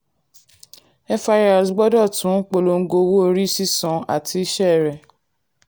firs gbọ́dọ̀ tún polongo owó orí sísan àti iṣẹ́ rẹ̀.